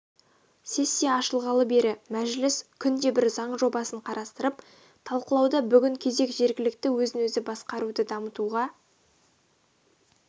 сессия ашылғалы бері мәжіліс күнде бір заң жобасын қарастырып талқылауда бүгін кезек жергілікті өзін-өзі басқаруды дамытуға